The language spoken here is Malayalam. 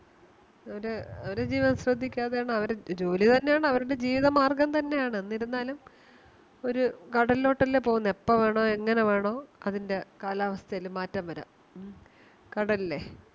ഒര് ഒര് ജീവൻ ശ്രദ്ധിക്കാതെയാണ് അവര് ജോലി തന്നെയാണ് അവരുടെ ജീവിത മാർഗം തന്നെയാണ് എന്നിരുന്നാലും ഒര് കടലിലൊട്ടല്ലേ പോകുന്നത് എപ്പോ വേണോ ഏങ്ങനെ വേണോ അതിൻറെ കാലാവസ്ഥേൽ മാറ്റം വരാം ഉം കടലിലെ